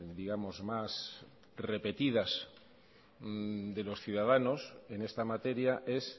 digamos más repetidas de los ciudadanos en esta materia es